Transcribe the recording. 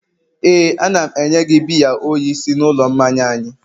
Éè, a na m enye gị biya oyi si n'ụlọ mmanya anyị